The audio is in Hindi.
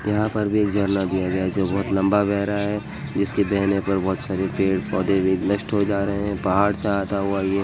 यहाँ पर भी एक झरना दिया गया है जो बहुत लम्बा बह रहा है। जिसके बहने पर बहोत सारे पेड़ पौधे भी नस्ट हो जा रहे हैं। पहाड़ से आता हुआ ये --